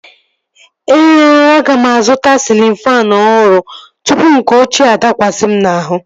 Ee ooo, aga m azụta sịlịn faanụ ọhụrụ tụpụ nke ọchịea adakwasi m n'ahụ